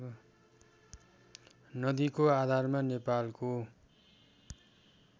नदिको आधारमा नेपालको